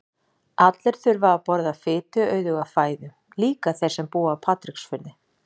Allir þurfa að borða fituauðuga fæðu, líka þeir sem búa á Patreksfirði.